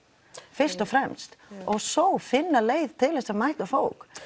fyrst og fremst og svo finna leið til þess að mæta fólk